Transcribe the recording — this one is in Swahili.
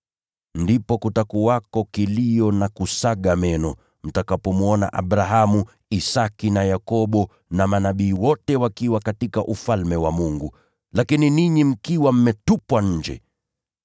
“Ndipo kutakuwako kilio na kusaga meno, mtakapowaona Abrahamu, Isaki, Yakobo na manabii wote wakiwa katika Ufalme wa Mungu, lakini ninyi mkiwa mmetupwa nje.